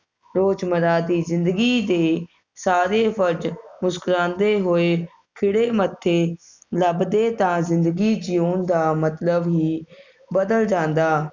ਰੋਜ ਮਰਾ ਦੇ ਜਿੰਦਗੀ ਦੇ ਸਾਰੇ ਵੱਜ ਮੁਸਕੁਰਾਉਂਦੇ ਹੋਏ ਖਿੜੇ ਮੱਥੇ ਲੱਭਦੇ ਤਾ ਜਿੰਦਗੀ ਜਿਉਣ ਦਾ ਮਤਲਬ ਹੀ ਬਦਲ ਜਾਂਦਾ